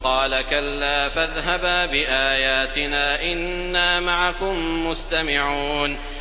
قَالَ كَلَّا ۖ فَاذْهَبَا بِآيَاتِنَا ۖ إِنَّا مَعَكُم مُّسْتَمِعُونَ